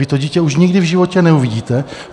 Vy to dítě už nikdy v životě neuvidíte.